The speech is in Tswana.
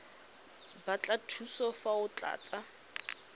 batla thuso fa o tlatsa